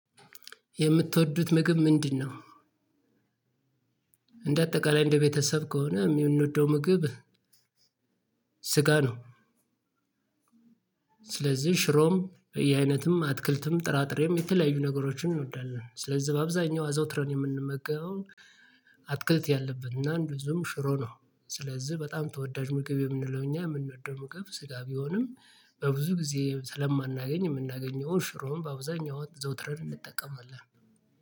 የምትወዱት ምግብ ምንድነው? እንደ አጠቃላይ እንደ ቤተሰብ ከሆነ የምንወደው ምግብ ስጋ ነው። ስለዚህ ሽሮም የአይነትም አትክልትም ጥራጥሬም የተለያዩ ነገሮችን እንወዳለን ስለዚህ በአብዛኛው አዘውትረን የምንመገበው አትክልት ያለበት እና እንደዚሁም ሽሮ ነው። ስለዚህ በጣም ተወዳጅ ምግብ የምንለው እኛ የምንወደው ምግብ ስጋ ቢሆንም በብዙ ጊዜ ስለማናገኝ የምናገኘውን ሽሮውን በአብዛኛው አዘውትረን እንጠቀምላለን።